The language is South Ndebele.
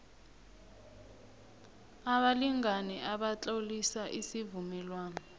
abalingani batlolisa isivumelwano